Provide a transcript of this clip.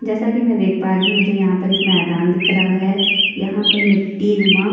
जैसा कि मैं देख पा रही हूं मुझे यहाँ पर एक मैदान दिख रहा है यहाँ पर मिट्टीनुमा--